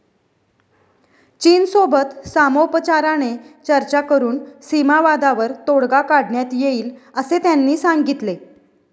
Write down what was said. चीनसोबत सामोपचाराने चर्चा करुन सीमावादावर तोडगा काढण्यात येईल असे त्यांनी सांगितले.